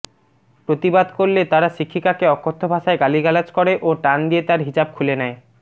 প্রতিবাদ করলে তারা শিক্ষিকাকে অকথ্য ভাষায় গালিগালাজ করে ও টান দিয়ে তার হিজাব খুলে নেয়